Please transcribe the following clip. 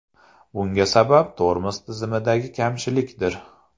Bunga sabab tormoz tizimidagi kamchilikdir.